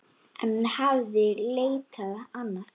En hún hafði leitað annað.